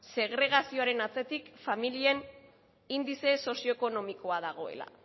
segregazioaren atzetik familien indize sozio ekonomikoa dagoela